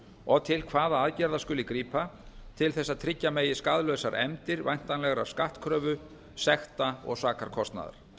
og til hvaða aðgerða skuli grípa til þess að tryggja megi skaðlausar efndir væntanlegrar skattkröfu sekta og sakarkostnaðar